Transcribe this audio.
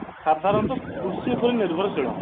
ସାଧାରଣତଃ କୃଷି ଉପରେ ନିର୍ଭରଶୀଳ